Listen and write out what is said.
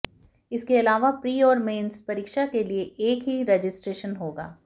इसके अलावा प्री और मेन्स परीक्षा के लिए एक ही रजिस्ट्रेशन होगा